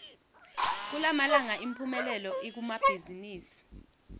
kulamalanga imphumelelo ikumabhazimisi